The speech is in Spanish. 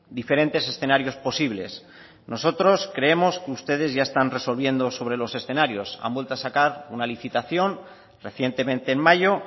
diferentes escenarios posibles nosotros creemos que ustedes ya están resolviendo sobre los escenarios han vuelto a sacar una licitación recientemente en mayo